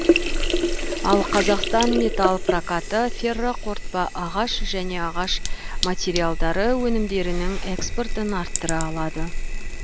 ал қазақстан метал прокаты ферроқорытпа ағаш және ағаш материалдары өнімдерінің экспортын арттыра алады